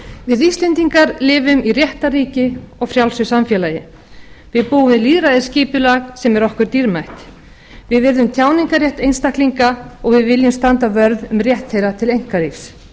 við íslendingar lifum í réttarríki og frjálsu samfélagi við búum við lýðræðisskipulag sem er okkur dýrmætt við virðum tjáningarrétt einstaklinga og við viljum standa vörð um rétt þeirra til einkalífs